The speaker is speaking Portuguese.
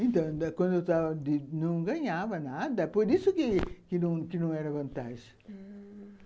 Então, quando eu estava não ganhava nada, por isso que não, que não era vantagem. Ah...